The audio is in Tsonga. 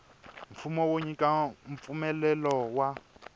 mfumo wo nyika mpfumelelo wa